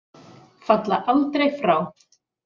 Falla aldrei frá.